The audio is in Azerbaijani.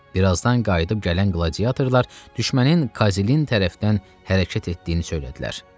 Bir azdan qayıdıb gələn qladiyatorlar düşmənin Kazilinin tərəfdən hərəkət etdiyini söylədilər.